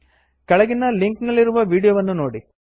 ಕೆಳಗಿನ ಲಿಂಕ್ ನಲ್ಲಿರುವ ವೀಡಿಯೊವನ್ನು ನೋಡಿ